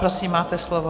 Prosím, máte slovo.